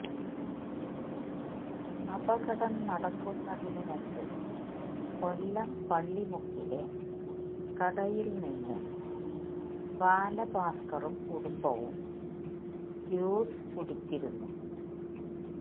അപകടം നടക്കുന്നതിനു മുമ്പ് കൊല്ലം പള്ളിമുക്കിലെ കടയില് നിന്ന് ബാലഭാസ്കറും കുടുംബവും ജ്യൂസ് കുടിച്ചിരുന്നു